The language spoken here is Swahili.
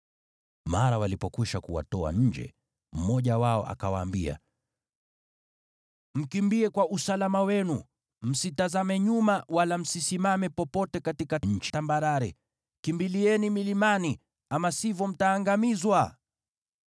Mara walipokwisha kuwatoa nje, mmoja wao akawaambia, “Mkimbie kwa usalama wenu! Msitazame nyuma, wala msisimame popote katika nchi tambarare! Kimbilieni milimani, ama sivyo mtaangamizwa!”